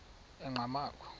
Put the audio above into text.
enqgamakhwe